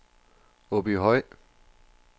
Åbyhøj